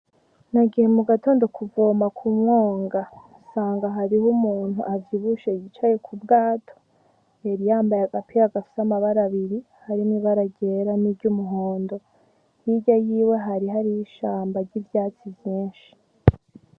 Nagiye mugatondo kuvoma m’umwonga nsanga Hariho umuntu avyibushe yicaye k'ubwato yariyambaye agapira gafise amabara abiri harimwo ibara ryera n'iryumuhondo hirya yiwe Hariyo ishamba n'ivyatsi vynshi.